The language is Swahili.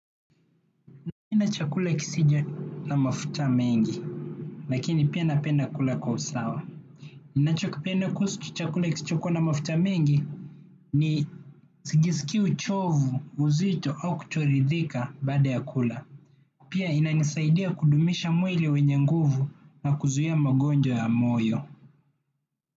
Napenda chakula kisicho na mafuta mengi lakini pia napenda kula kwa usawa. Ninachokipenda kuhusu chakula kisichokua na mafuta mengi ni sijiskii uchovu, uzito au kutoridhika baada ya kula. Pia inanisaidia kudumisha mwili wenye nguvu na kuzuia magonjwa ya moyo.